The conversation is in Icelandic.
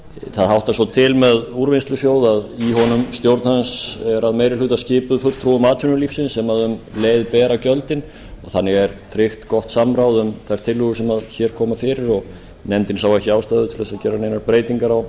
það háttar svo til með úrvinnslusjóð að stjórn hans er að meiri hluta skipuð fulltrúum atvinnulífsins sem um leið bera gjöldin þannig er tryggt gott samráð um þær tillögur sem hér koma fyrir og nefndin sá ekki ástæðu til að gera neinar breytingar á